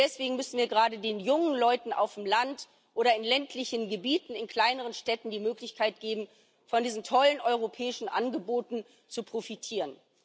Und deswegen müssen wir gerade den jungen Leuten auf dem Land oder in ländlichen Gebieten, in kleineren Städten die Möglichkeit geben, von diesen tollen europäischen Angeboten zu profitieren.